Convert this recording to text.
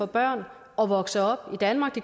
børn at vokse op i danmark